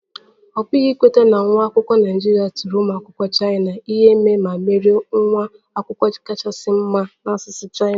Ọ pụghị ikweta na nwa akwụkwọ Naịjirịa tiri ụmụ akwụkwọ Chaina ihe ma merie nwa akwụkwọ kachasị mma na asụsụ Chaina